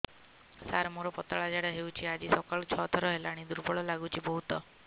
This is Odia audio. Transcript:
ସାର ମୋର ପତଳା ଝାଡା ହେଉଛି ଆଜି ସକାଳୁ ଛଅ ଥର ହେଲାଣି ଦୁର୍ବଳ ଲାଗୁଚି ବହୁତ